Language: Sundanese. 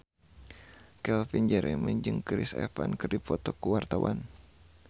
Calvin Jeremy jeung Chris Evans keur dipoto ku wartawan